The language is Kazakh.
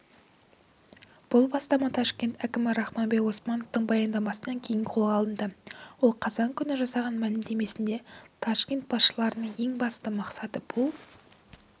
бұл бастама ташкент әкімі рахманбек османовтың баяндамасынан кейін қолға алынды ол қазан күні жасаған мәлімдемесінде ташкент басшыларының ең басты мақсаты бұл